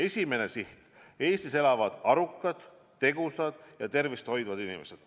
Esimene siht: Eestis elavad arukad, tegusad ja tervist hoidvad inimesed.